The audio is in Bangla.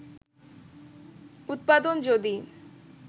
উৎপাদন যদি